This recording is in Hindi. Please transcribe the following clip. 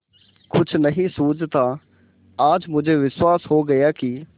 कुछ नहीं सूझता आज मुझे विश्वास हो गया कि